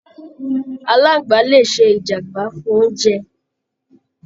Aláàngbá le ṣe ìjàmbá fún oúnjẹ!